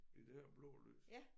I det her blå lys